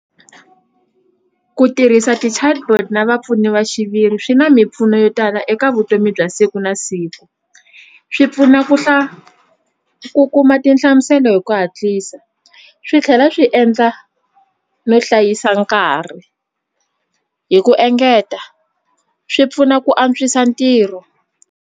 Ku tirhisa ti-chatbot na vapfuni va xiviri swi na mimpfuno yo tala eka vutomi bya siku na siku swi pfuna ku ku kuma tinhla hlamusela hi ku hatlisa swi tlhela swi endla no hlayisa nkarhi hi ku engeta swi pfuna ku antswisa ntirho.